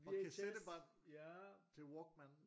Og kasettebånd til Walkman